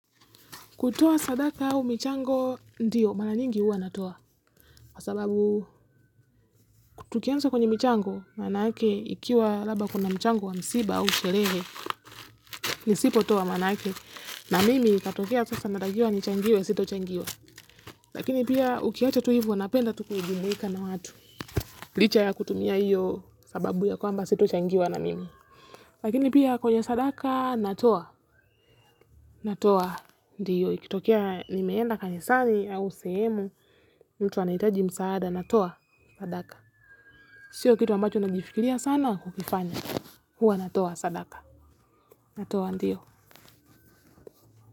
Kutoa sadaka au mchango, ndiyo, mara nyingi huwa natoa. Kwa sababu, tukianza kwenye michango, maana yake, ikiwa labda kuna mchango wa msiba au sherehe, nisipotoa maana yake. Na mimi, ikatokea sasa natakiwa nichangiwe, sitochangiwa. Lakini pia, ukiacha tu ivo, napenda tu kujumuika na watu. Licha ya kutumia hiyo, sababu ya kwamba sitol changiwa na mimi. Lakini pia, kwenye sadaka, natoa. Natoa ndiyo, ikitokea nimeenda kanisani au sehemu, mtu anahitaji msaada, natoa, sadaka. Sio kitu ambacho nakifikiria sana kukifanya, huwa natoa sadaka, natoa ndiyo.